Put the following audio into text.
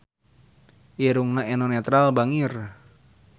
Irungna Eno Netral bangir